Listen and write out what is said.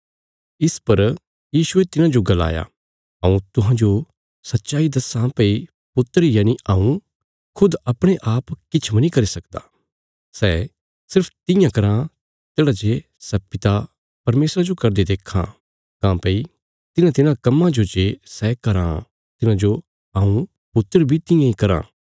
इस पर यीशुये तिन्हांजो गलाया हऊँ तुहांजो सच्चाई दस्सां भई पुत्र यनि हऊँ खुद अपणे आप किछ मनी करी सकदा सै सिर्फ तियां कराँ तेढ़ा जे सै पिता परमेशरा जो करदे देक्खां काँह्भई तिन्हांतिन्हां कम्मां जो जे सै कराँ तिन्हांजो हऊँ पुत्र बी तियां इ कराँ